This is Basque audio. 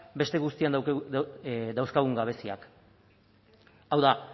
beste guztian dauzkagun gabeziak hau da